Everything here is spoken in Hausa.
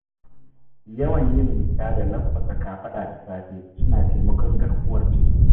Yawan yin miƙa da lanƙwasa kafaɗa da safe suna taimakon garkuwar jiki.